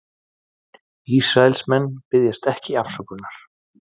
Ísraelsmenn biðjast ekki afsökunar